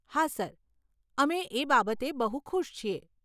હા સર, અમે એ બાબતે બહુ ખુશ છીએ.